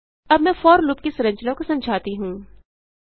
अब मैंfor लूप की संरचना को समझाती हूँ